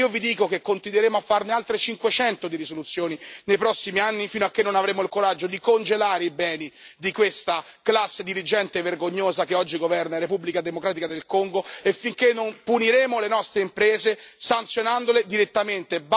E io vi dico che continueremo a fare altre 500 risoluzioni, nei prossimi anni, finché non avremo il coraggio di congelare i beni di questa classe dirigente vergognosa che oggi governa in Repubblica democratica del Congo e finché non puniremo le nostre imprese, sanzionandole direttamente.